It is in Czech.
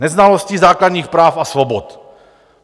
Neznalostí základních práv a svobod.